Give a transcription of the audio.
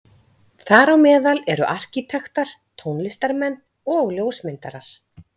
Þar á meðal eru arkítektar, tónlistarmenn og ljósmyndarar.